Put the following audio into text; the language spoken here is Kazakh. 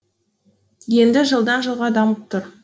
енді жылдан жылға дамып тұр